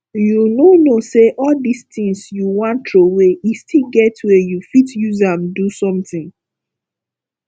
you no know say all dis things you wan throway e still get way you fit use am do something